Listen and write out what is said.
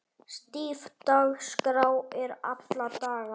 Stíf dagskrá er alla daga.